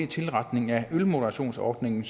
tilretningen af ølmoderationsordningen